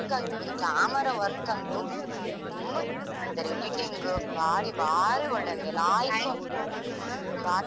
ಆಗ್ಬಹುದು camera work ಅಂತು ತುಂಬಾ ಚೆನ್ನಾಗಿ ಮಾಡಿದರೆ editing ಭಾರಿ ಭಾರಿ ಒಳ್ಳೆ ಆಗಿದಲ್ಲ ಲಾಯಕ್ ಮಾಡಿದ್ದಾರೆ.